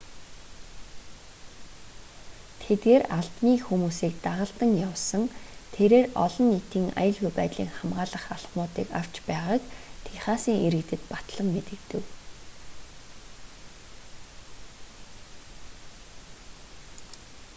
тэдгээр албаны хүмүүсийг дагалдан явсан тэрээр олон нийтийн аюулгүй байдлыг хамгаалах алхмуудыг авч байгааг техасын иргэдэд батлан мэдэгдэв